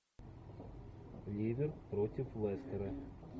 ливер против лестера